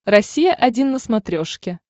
россия один на смотрешке